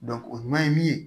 o ɲuman ye min ye